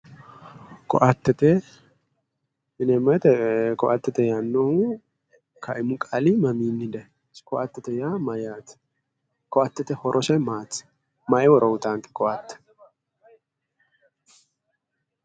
Koattete koatete yineemmo woyiite koattete yaannohu kaimu qaali mamiinni daayiino, isi koatete yaa mayyaate? kottete horose maati? maayi horo uuyiitaanke koatte?